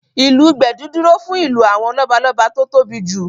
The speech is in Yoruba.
Ìlù gbẹ̀du dúró fún ìlù àwọn lọ́balọ́ba tó tóbi jù